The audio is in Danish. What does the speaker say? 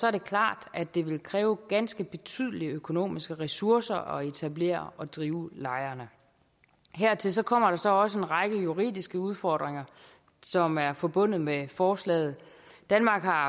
er det klart at det vil kræve ganske betydelige økonomiske ressourcer at etablere og drive lejrene hertil kommer der så også en række juridiske udfordringer som er forbundet med forslaget danmark har